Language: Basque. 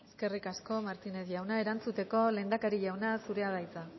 eskerrik asko martínez jauna erantzuteko lehendakari jauna zurea da hitza